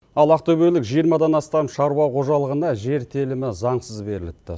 ал ақтөбелік жиырмадан астам шаруа қожалығына жер телімі заңсыз беріліпті